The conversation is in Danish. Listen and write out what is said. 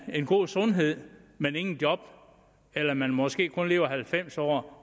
en god sundhed men ingen job eller at man måske kun har levet halvfems år